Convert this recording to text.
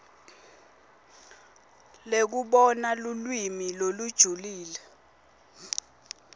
lekubona lulwimi lolujulile